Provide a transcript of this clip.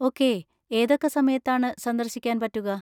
Okay, ഏതൊക്കെ സമയത്താണ് സന്ദർശിക്കാൻ പറ്റുക?